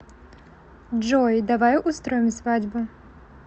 джой давай устроим свадьбу